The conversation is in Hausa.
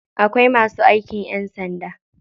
Akwai masu aikin ƴan sanda.